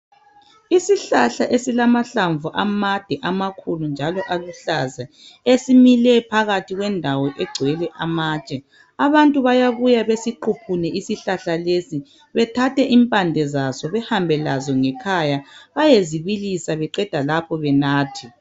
Isihlahla esilamahlabvu amade amakhulu njalo aluhlaza esimile phakathi kwendawo egcwele amatshe , Abantu bayabuya besiquphune isihlahla lesi bethathe impande saso bahambe lazo ngekhaya bayezibilisa beqeda lapho bathathe .